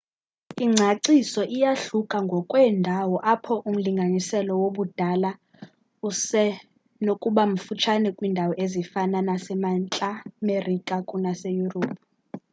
ingcaciso iyahluka ngokweendawo apho umlinganiselo wobudala usenokubamfutshane kwiindawo ezifana nasemntla merika kunaseyurophu